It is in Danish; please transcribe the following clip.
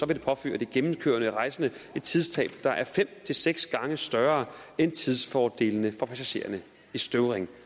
det påføre de gennemkørende rejsende et tidstab der er fem til seks gange større end tidsfordelene for passagererne i støvring